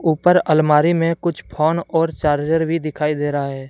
ऊपर अलमारी में कुछ फोन और चार्जर भी दिखाई दे रहा है।